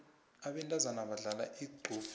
abentazana badlala igqubhsi